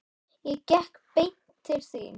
Ég gekk beint til þín.